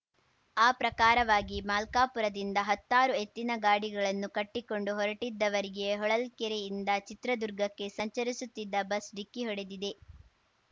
ಆ ಪ್ರಕಾರವಾಗಿ ಮಲ್ಕಾಪುರದಿಂದ ಹತ್ತಾರು ಎತ್ತಿನ ಗಾಡಿಗಳನ್ನು ಕಟ್ಟಿಕೊಂಡು ಹೊರಟಿದ್ದವರಿಗೆ ಹೊಳಲ್ಕೆರೆಯಿಂದ ಚಿತ್ರದುರ್ಗಕ್ಕೆ ಸಂಚರಿಸುತ್ತಿದ್ದ ಬಸ್‌ ಡಿಕ್ಕಿ ಹೊಡೆದಿದೆ